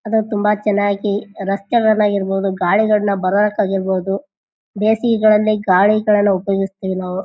ಅದು ತುಂಬಾ ಚೆನ್ನಾಗಿ ರಸ್ತೆಗಳಲ್ಲಿ ಆಗಿರಬಹುದು ಗಾಳಿಗಳಿಂದ ಬಾರೋಕ್ ಆಗಿರ್ಬಹುದು ಬೇಸಿಗೆಗಳಲ್ಲಿ ಗಾಲಿಗಳನ್ನು ಉಪಯೋಗಿಸ್ತಿವಿ ನಾವು.